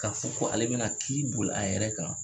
Ka fɔ ko ale bɛna kiiri boli a yɛrɛ kan ?